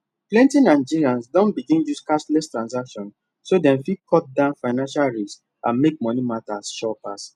plenty nigerians don begin use cashless transactions so dem fit cut down financial risks and make money matter sure pass